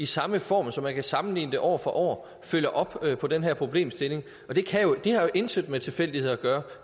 samme form så man kan sammenligne det år for år følger op på den her problemstilling og det har jo intet med tilfældigheder at gøre